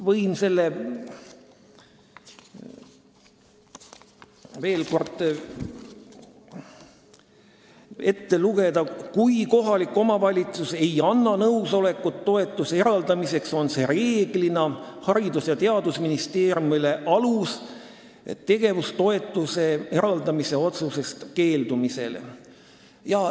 Võin selle koha veel kord ette lugeda: "Kui kohalik omavalitsus ei anna nõusolekut toetuse eraldamiseks, on see reeglina Haridus- ja Teadusministeeriumile alus tegevuskulutoetuse eraldamise otsusest keeldumisele.